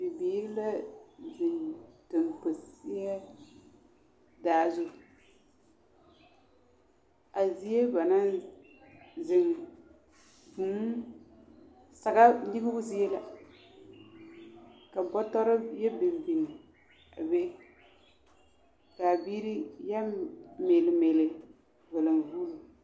Bibiiri la zeŋ damposeɛ daa zu, a zie ba naŋ zeŋ vūū saga nyegebo zie la ka bɔtɔre yɛ biŋ biŋ a be k'a biiri yɛ meele meele valenvuuluŋ.